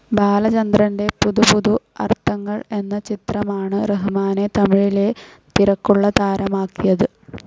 ബാലചന്ദ്രറിന്റെ പുതു പുതു അർത്ഥങ്ങൾ എന്ന ചിത്രമാണ് റഹ്മാനെ തമിഴിലെ തിരക്കുള്ള താരമാക്കിയത്.